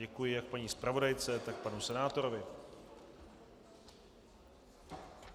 Děkuji jak paní zpravodajce, tak panu senátorovi.